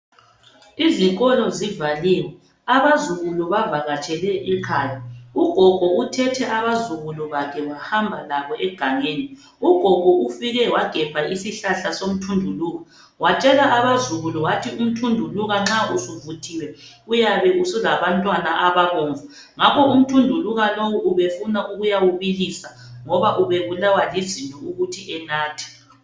Izikolo zivaliwe, abazukulu bavakatshele ekhaya, ugogo uthethe abazukulu bakhe wahamba labo egangeni, ugogo ufike wagebha isihlahla somthunduluka, watshela abazukulu wathi umthunduluka nxa usuvuthiwe uyabe usulabantwana ababomvu, ngakho umthunduluka lowu ubefuna ukuyawubilisa, ngoba ubebulawa lizinyo ukuthi enathe.